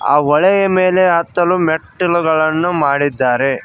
ಆ ಹೊಳೆಯ ಮೇಲೆ ಹತ್ತಲು ಮೆಟ್ಟಿಲುಗಳನ್ನು ಮಾಡಿದ್ದಾರೆ.